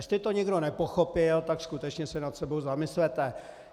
Jestli to někdo nepochopil, tak skutečně se nad sebou zamyslete.